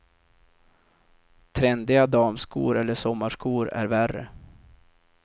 Trendiga damskor eller sommarskor är värre.